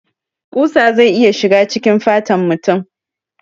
Ƙusa zai iya shiga cikin fatan mutum